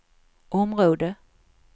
område